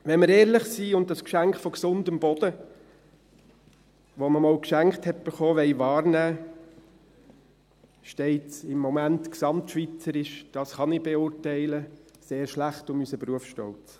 Wenn wir ehrlich sind und das Geschenk von gesundem Boden, welches man einmal geschenkt bekommen hat, wahrnehmen wollen, steht es im Moment gesamtschweizerisch – dies kann ich beurteilen – sehr schlecht um unseren Berufsstolz.